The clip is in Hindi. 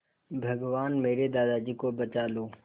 भगवान मेरे दादाजी को बचा लो